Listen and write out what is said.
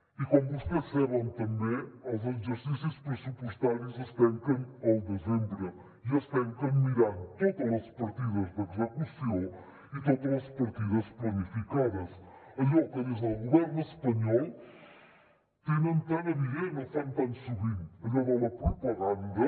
i com vostès saben també els exercicis pressupostaris es tanquen al desembre i es tanquen mirant totes les partides d’execució i totes les partides planificades allò que des el govern espanyol tenen tan evident o fan tan sovint allò de la propaganda